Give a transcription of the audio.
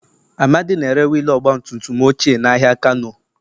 Amadi na-ere wiil ọgba tum tum ochie n'ahịa kano.